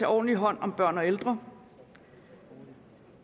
ordentlig hånd om børn og ældre